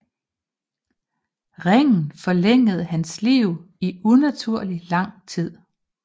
Ringen forlængede hans liv i unaturlig lang tid